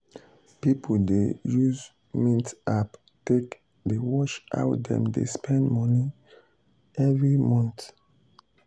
people people dey use mint app take dey watch how dem dey spend money every month.